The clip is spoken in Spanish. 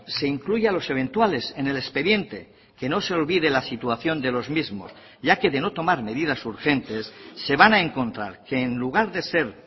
se incluya a los eventuales en el expediente que no se olvide la situación de los mismos ya que de no tomar medidas urgentes se van a encontrar que en lugar de ser